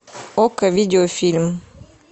окко видеофильм